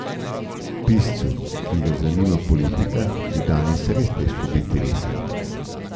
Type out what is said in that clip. Piscu, ki ga zanima politika, je danes res težko biti resen.